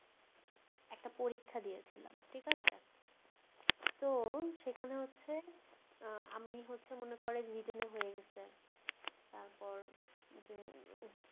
একটা পরীক্ষা দিয়েছিলাম ঠিকাছে তো সেখানে হচ্ছে উহ আমি হচ্ছে মনে করেন written এ হয়ে গেছি তারপর যে